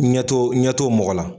Ɲɛto ɲɛto mɔgɔ la.